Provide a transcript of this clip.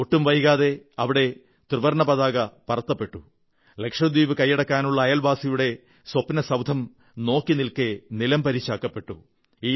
ഒട്ടും വൈകാതെ അവിടെ ത്രിവർണ്ണ പതാക പറത്തപ്പെട്ടു ലക്ഷദ്വീപ് കൈയടക്കാനുള്ള അയൽവാസിയുടെ സ്വപ്നസൌധം നോക്കിനിൽക്കെ നിലംപരിശാക്കപ്പെട്ടു